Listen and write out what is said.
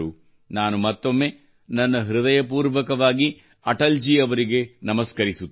ನಾನು ಮತ್ತೊಮ್ಮೆ ನನ್ನ ಹೃದಯಪೂರ್ವಕವಾಗಿ ಅಟಲ್ ಜೀ ಅವರಿಗೆ ನಮಸ್ಕರಿಸುತ್ತೇನೆ